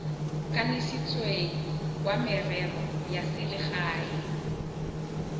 kanisitsweng wa merero ya selegae